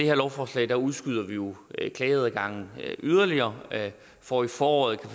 her lovforslag udskyder vi jo klageadgangen yderligere for i foråret